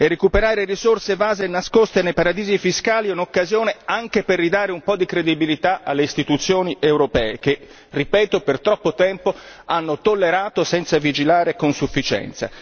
Recuperare risorse evase e nascoste nei paradisi fiscali è un'occasione anche per ridare un po' di credibilità alle istituzioni europee che, ripeto, per troppo tempo hanno tollerato senza vigilare con sufficienza.